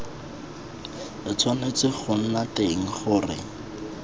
tshwanetse go nna teng gore